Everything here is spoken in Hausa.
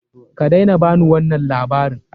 Kadaina ba ni wannan labaran!